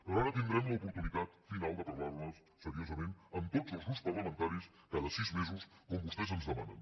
però ara tindrem l’oportunitat final de parlar·ne serio·sament amb tots els grups parlamentaris cada sis me·sos com vostès ens demanen